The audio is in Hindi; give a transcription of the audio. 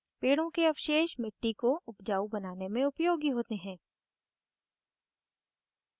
पेड़ों के अवशेष मिट्टी को उपजाऊ बनाने में उपयोगी होते हैं